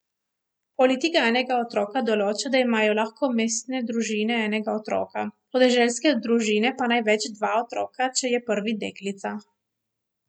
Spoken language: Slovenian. Politika enega otroka določa, da imajo lahko mestne družine enega otroka, podeželske družine pa največ dva otroka, če je prvi deklica.